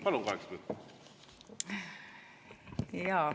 Palun, kaheksa minutit!